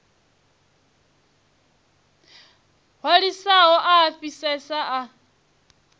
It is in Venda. hwalesaho a a fhisesa a